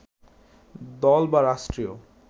দল বা রাষ্ট্রীয়